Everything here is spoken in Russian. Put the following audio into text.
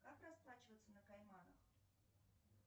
как расплачиваться на кайманах